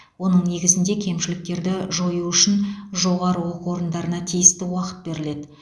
оның негізінде кемшіліктерді жою үшін жоғары оқу орындарына тиісті уақыт беріледі